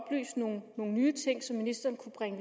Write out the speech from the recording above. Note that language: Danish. nogle nye ting som ministeren kunne bringe